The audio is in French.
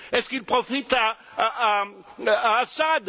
Est ce qu'il profite à Assad?